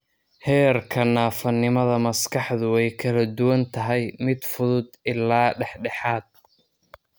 Heerka naafanimada maskaxdu way kala duwan tahay mid fudud ilaa dhexdhexaad.